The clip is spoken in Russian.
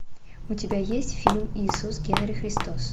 у тебя есть фильм иисус генри христос